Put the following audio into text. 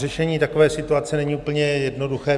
Řešení takové situace není úplně jednoduché.